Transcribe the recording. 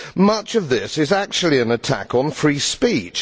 Much of this is actually an attack on free speech.